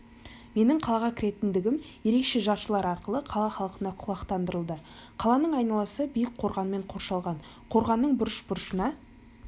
менің қалаға кіретіндігім ерекше жаршылар арқылы қала халқына құлақтандырылды қаланың айналасы биік қорғанмен қоршалған қорғанның бұрыш-бұрышына